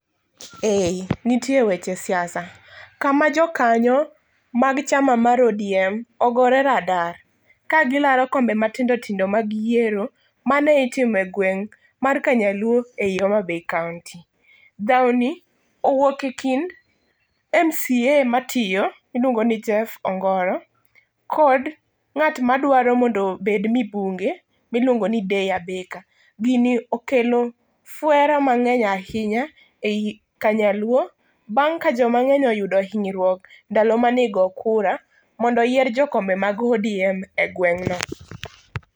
Ee, nitie weche siasa, kama jokanyo mag chama mar ODM ogore radar kagilaro kombe matindo tindo mag yiero, mane itimo egwen mar Kanyaluo ei Homa Bay kaonti. Dhawni owuok ekind MCA matiyo, miluongo ni James Ongoro kod ng'at madwaro mondo obed mibunge miluongo Jeff Abeka. Gini okelo fuere mang'eny ahinya ei Kanyaluo bang' ka jomang'eny oyudo hinyruok ndalo mani go kura, mondo oyier jokombe mag ODM egweng'no.